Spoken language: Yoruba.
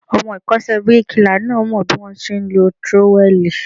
Ọmọ ìkọ́ṣẹ́ bíríkilà náà mọ bí wón ti ń lọ tírówẹ́lìì.